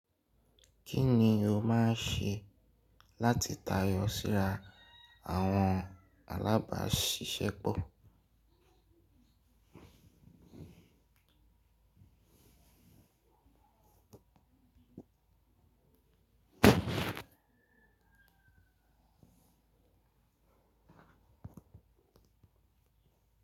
Kí ni o máa ṣe láti tayọ síra àwọn alábàáṣiṣẹ́pọ̀?